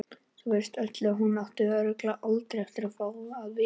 Verst af öllu að hún átti örugglega aldrei eftir að fá að vita það.